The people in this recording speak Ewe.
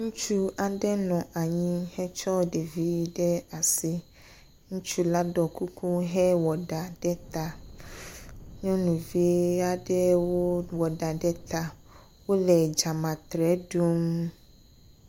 Ŋutsu aɖe nɔ anyi hetsɔ ɖevi ɖe asi. Ŋutsu la ɖɔ kuku hewɔ ɖa ɖe ta. Nyɔnuvi aɖewo wɔ ɖa ɖe ta wole dzametrɛ ɖum.